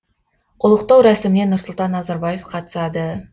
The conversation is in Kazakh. ұлықтау рәсіміне нұрсұлтан назарбаев қатысады